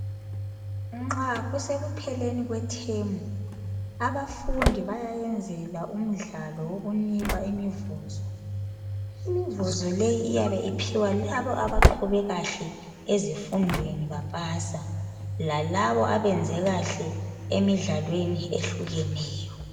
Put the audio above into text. Nxa kusekupheleni kwethemu abafundi bayayenzelwa umdlalo owokunikwa imivuzo. Imivuzo leyo iyabe ophiwa labo abaqhube kahle ezifundweni bapasa lalabo abenze kahle emidlalweni ehlukeneyo.